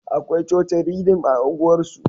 Akwai cocin Ridim a unguwar su